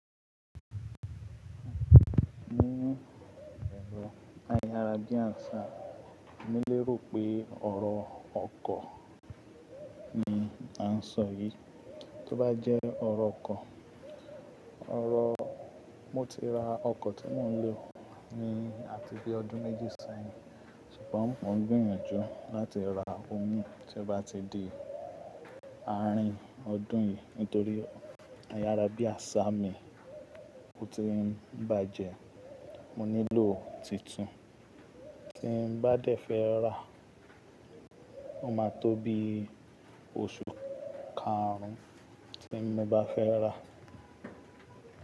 Nínú ẹ̀rọ ayára bí àsà emí lérò pé ọ̀rọ̀ ọkọ̀ ni àǹsọ yìí. Tó bá jẹ́ ọ̀rọ̀ ọkọ̀, ọ̀rọ̀ mo ti ra ọkọ̀ tí mò ń lò ni àti bí ọdún méjì sẹ́yìn ṣùgbọ́n mò ń gbìyànjú láti ra ọ̀ún tí ó bá ti di àárín ọdún yìí nítorí ayára bí àṣá ni ò ti ń bàjẹ́, mo nílò tuntun. Tí n bá dé fẹ́ ra, ó máa tó bí oṣù karùn-ún tí mo bá fẹ́ ra.